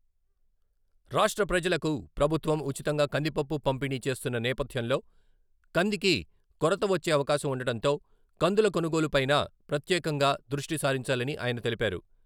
రాష్ట్ర ప్రజలకు ప్రభుత్వం ఉచితంగా కందిపప్పు పంపిణీ చేస్తున్న నేపథ్యంలో కందికీ కొరత వచ్చే అవకాశం ఉండటంతో కందుల కొనుగోలుపైనా ప్రత్యేకంగా దృష్టి సారించాలని ఆయన తెలిపారు.